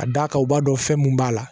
A da kan o b'a dɔn fɛn mun b'a la